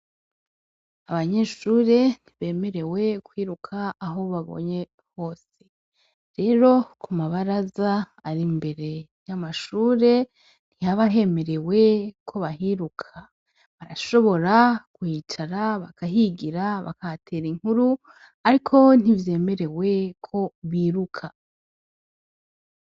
Abanyeshure ntibemerewe kwiruka aho baborye hose rero ku ma baraza ari imbere y’amashure ntihaba hemerewe ko bahiruka barashobora kuhicara bakahingira bakahaterera inkuru ariko ntivyemerewe ko bahiruka.